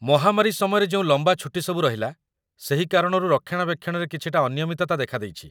ମହାମାରୀ ସମୟରେ ଯେଉଁ ଲମ୍ବା ଛୁଟିସବୁ ରହିଲା, ସେହି କାରଣରୁ ରକ୍ଷଣାବେକ୍ଷଣରେ କିଛିଟା ଅନିୟମିତତା ଦେଖା ଦେଇଛି